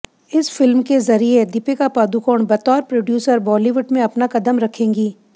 इस फिल्म के जरिए दीपिका पादुकोण बतौर प्रोड्यूसर बॉलीवुड में अपना कदम रखेंगी